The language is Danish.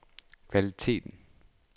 kvaliteten